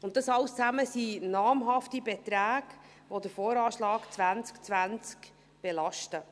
Dies alles zusammen ergibt einen namhaften Betrag, der den VA 2020 belastet.